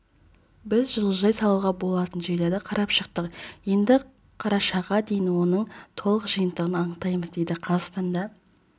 біз жылыжай салуға болатын жерлерді қарап шықтық енді қарашаға дейін оның толық жиынтығын анықтаймыз деді қазақстанда